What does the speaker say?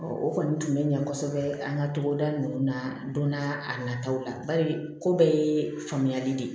o kɔni tun bɛ ɲɛ kosɛbɛ an ka togoda ninnu na donna a nataw la bari ko bɛɛ ye faamuyali de ye